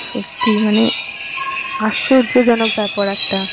সত্যিই মানে আশ্চর্যজনক বেপার একটা!